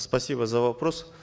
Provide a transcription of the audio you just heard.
спасибо за вопрос